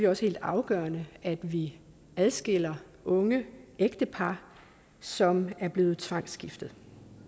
også helt afgørende at vi adskiller unge ægtepar som er blevet tvangsgiftet